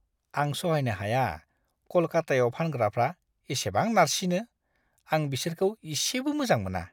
आं सहायनो हाया कलकतायाव फानग्राफ्रा इसेबां नारसिनो। आं बिसोरखौ इसेबो मोजां मोना!